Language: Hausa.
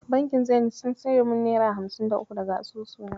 Bankin Zenit sun cire min naira hamsin da uku daga asusu na.